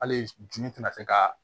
Hali jinɛ tɛna se ka